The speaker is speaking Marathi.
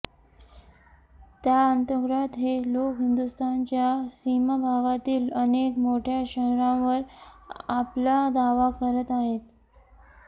त्याअंतर्गत हे लोक हिंदुस्थानच्या सीमाभागातील अनेक मोठ्या शहरांवर आपला दावा करत आहेत